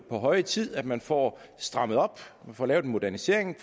på høje tid at man får strammet op at man får lavet en modernisering